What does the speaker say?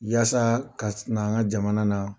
Yasa ka na an ka jamana na